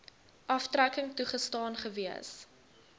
aftrekking toegestaan gewees